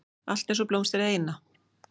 Allt einsog blómstrið eina.